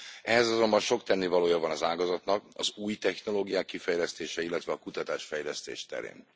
Ehhez azonban sok tennivalója van az ágazatnak az új technológiák kifejlesztése, illetve a kutatás fejlesztés terén.